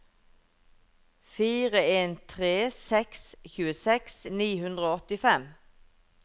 fire en tre seks tjueseks ni hundre og åttifem